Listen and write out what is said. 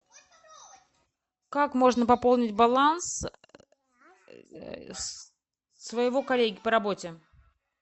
как можно пополнить баланс своего коллеги по работе